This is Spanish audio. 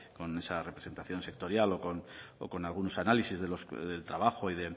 con esa representación sectorial o con algunos análisis del trabajo y